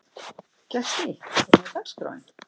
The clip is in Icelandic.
Gestný, hvernig er dagskráin?